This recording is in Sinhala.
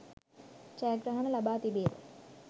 ජයග්‍රහණ ලබා තිබේද?